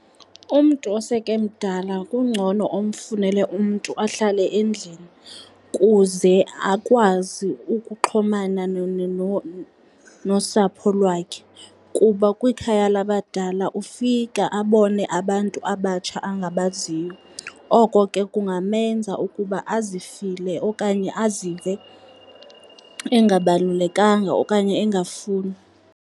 Umntu oseke emdala kungcono umfunele umntu ahlale endlini kuze akwazi ukuxhomana nosapho lwakhe kuba kwikhaya labadala, ufika abone abantu abatsha abangabaziyo. Oko ke kungamenza ukuba azifile okanye azive engabalulekanga okanye engafunwa.